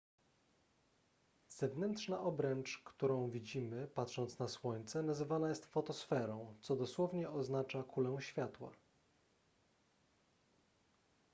zewnętrzna obręcz którą widzimy patrząc na słońce nazywana jest fotosferą co dosłownie oznacza kulę światła